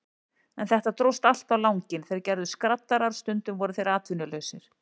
En þetta dróst allt á langinn, þeir gerðust skraddarar, stundum voru þeir atvinnulausir.